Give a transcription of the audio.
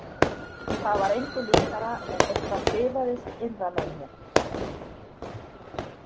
Það var engu líkara en eitthvað bifaðist innra með mér.